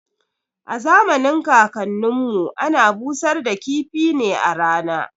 A zamanin kakan nin mu ana busar da kifi ne a rana